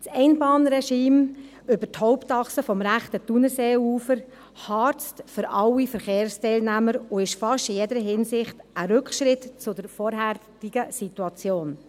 Das Einbahnregime über die Hauptachse des rechten Thunerseeufers harzt für alle Verkehrsteilnehmer und ist fast in jeder Hinsicht ein Rückschritt zur vorherigen Situation.